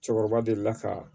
Cɛkɔrɔba delila ka